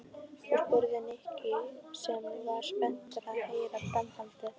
Og? spurði Nikki sem var spenntur að heyra framhaldið.